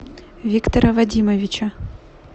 виктора вадимовича